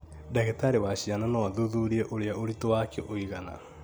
Ndagĩtarĩ wa ciana no athuthurie ũrĩa ũritũ wake ũigana